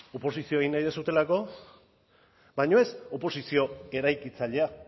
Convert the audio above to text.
oposizioa egin nahi duzuelako baina ez oposizio eraikitzailea